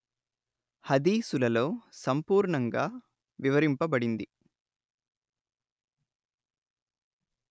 హదీసులలో సంపూర్ణంగా వివరింపబడింది